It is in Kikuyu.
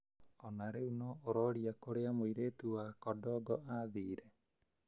Ona rĩu no ũroria kũria mũirĩtu wa kodongo athiire